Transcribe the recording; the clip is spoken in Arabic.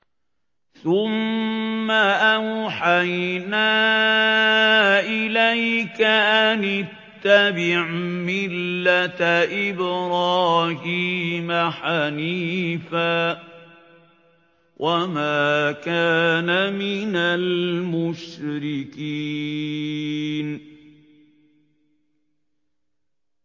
ثُمَّ أَوْحَيْنَا إِلَيْكَ أَنِ اتَّبِعْ مِلَّةَ إِبْرَاهِيمَ حَنِيفًا ۖ وَمَا كَانَ مِنَ الْمُشْرِكِينَ